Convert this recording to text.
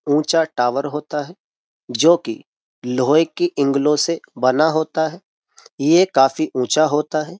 ऊंचा टावर होता है जो कि लोहे की इंगलों से बना होता है यह काफी ऊँचा होता है।